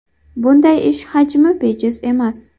Bunday ish hajmi bejiz emas.